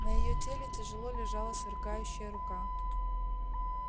на её теле тяжело лежала сверкающая рука